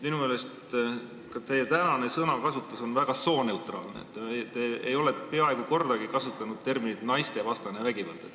Minu meelest teie tänane sõnakasutus on väga sooneutraalne, te ei ole peaaegu kordagi kasutanud terminit "naistevastane vägivald".